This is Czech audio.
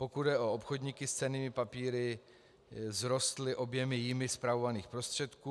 Pokud jde o obchodníky s cennými papíry, vzrostly objemy jimi spravovaných prostředků.